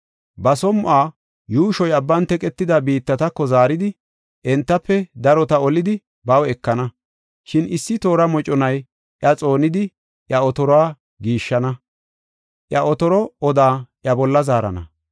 Ba som7uwa yuushoy abban teqetida biittatako zaaridi, entafe darota olidi baw ekana. Shin issi toora moconay iya xoonidi iya otoruwa giishshana; iya otoro odaa iya bolla zaarana.